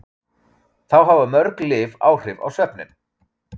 Þá hafa mörg lyf áhrif á svefninn.